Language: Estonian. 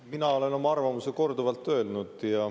Mina olen oma arvamuse korduvalt öelnud.